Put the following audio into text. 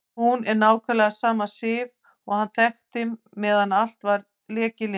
Hún er nákvæmlega sama Sif og hann þekkti meðan allt lék í lyndi.